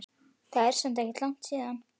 Það er samt ekkert langt síðan.